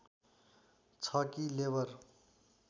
छ कि लेबर